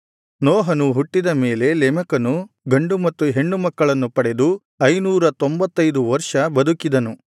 ನೋಹನು ಹುಟ್ಟಿದ ಮೇಲೆ ಲೆಮೆಕನು ಗಂಡು ಮತ್ತು ಹೆಣ್ಣು ಮಕ್ಕಳನ್ನು ಪಡೆದು ಐನೂರ ತೊಂಭತ್ತೈದು ವರ್ಷ ಬದುಕಿದನು